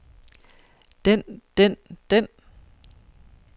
den den den